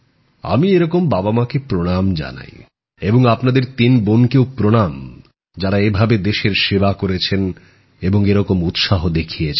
আমি এরকম মাবাবা কে প্রণাম জানাই এবং আপনাদের তিন বোনকেও প্রণাম যারা এভাবে দেশের সেবা করেছেন এবং এরকম উৎসাহ দেখিয়েছেন